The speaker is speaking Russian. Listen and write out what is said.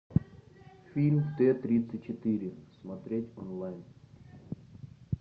фильм т тридцать четыре смотреть онлайн